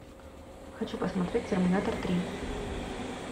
хочу посмотреть терминатор три